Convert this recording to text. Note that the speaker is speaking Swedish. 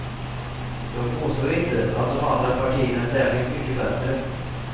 Jag påstår inte att de andra partierna är särskilt mycket bättre.